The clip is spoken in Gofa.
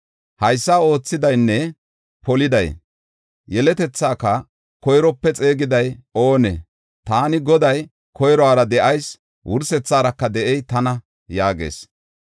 Haysa oothidaynne poliday yeletethaaka koyrope xeegiday oonee? Taani Goday, koyruwara de7ayis wursetharaka de7ey tana” yaagees.